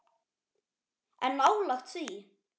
En nálægt því.